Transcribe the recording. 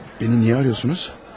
Məni niyə arıyorsunuz?